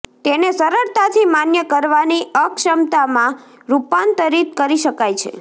તેને સરળતાથી માન્ય કરવાની અક્ષમતા માં રૂપાંતરિત કરી શકાય છે